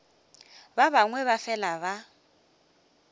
ba bangwe ba fela ba